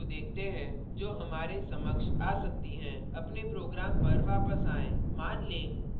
अब उन सामान्य errors को देखते हैं जो हमारे समक्ष आ सकती हैं अपने program पर वापस आएँ